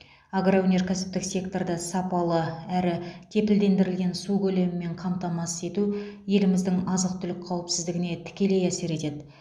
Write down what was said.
агроөнеркәсіптік секторды сапалы әрі кепілдендірілген су көлемімен қамтамасыз ету еліміздің азық түлік қауіпсіздігіне тікелей әсер етеді